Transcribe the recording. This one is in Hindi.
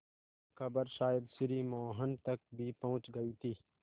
खबर शायद श्री मोहन तक भी पहुँच गई थी